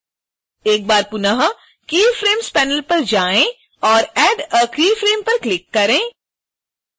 एक बार पुनः keyframes panel पर जाएँ और add a keyframe पर क्लिक करें